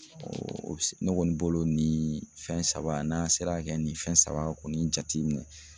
ne kɔni bolo nin fɛn saba n'an sera ka kɛ nin fɛn saba kɔni jateminɛ